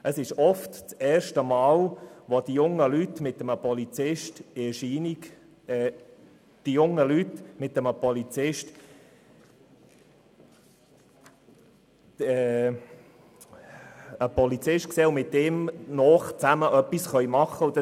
Oft ist dies das erste Mal, dass die jungen Leute mit einem Polizisten in Berührung kommen und mit ihm zusammen etwas machen können.